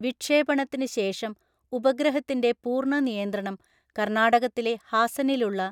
വിക്ഷേപണത്തിന് ശേഷം ഉപഗ്രഹത്തിൻ്റെ പൂർണ്ണ നിയന്ത്രണം കർണ്ണാടകത്തിലെ ഹാസനിലുള്ള